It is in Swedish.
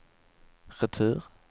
retur